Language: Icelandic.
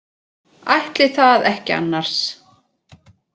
Ætli það ekki annars.